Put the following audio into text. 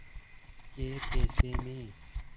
कै पैसे में